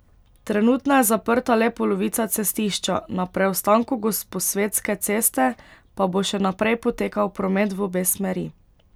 Trenutno je zaprta le polovica cestišča, na preostanku Gosposvetske ceste pa bo še naprej potekal promet v obe smeri.